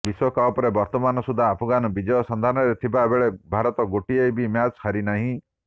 ବିଶ୍ବକପ୍ରେ ବର୍ତ୍ତମାନସୁଦ୍ଧା ଆଫଗାନ ବିଜୟ ସନ୍ଧାନରେ ଥିବା ବେଳେ ଭାରତ ଗୋଟିଏ ବି ମ୍ୟାଚ ହାରିନାହିଁ